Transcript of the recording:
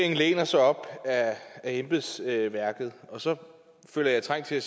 læner sig op ad embedsværket og så føler jeg trang til